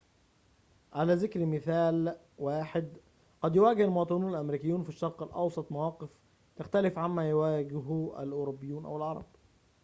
على ذكر مثال واحد قد يواجه المواطنون الأمريكيون في الشرق الأوسط مواقف تختلف عما يواجهه الأوروبيون أو العرب